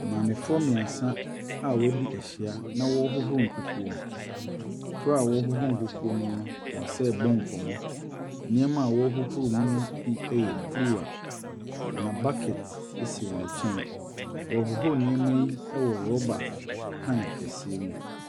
Maamefoɔ mmiɛnsa a wɔadi ahyia na wɔrehohoro nkukuo mu. Bere a wɔrehohoro nkukuo mu no, wɔsan rebɔ nkɔmmɔ. Nneɛma a wɔrehohoro mu no bi yɛ kuruwa. Na bucket si wɔn nkyɛn. Wɔrehohoro nneɛma yi wɔ rubber pan kɛseɛ mu.